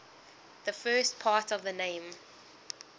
the first part of the name